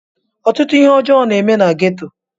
Ọtụtụ ihe ọjọ na eme na ghetto.